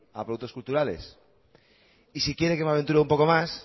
a productos culturales y si quiere que me aventure un poco más